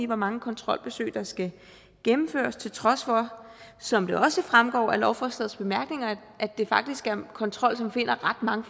hvor mange kontrolbesøg der skal gennemføres til trods for som det også fremgår af lovforslagets bemærkninger at det faktisk er en kontrol som finder ret mange